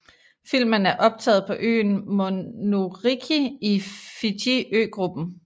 Filmen er optaget på øen Monuriki i Fiji ø gruppen